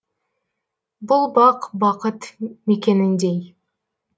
бұл бақ бақыт мекеніндей